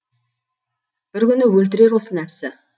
бір күні өлтірер осы нәпсі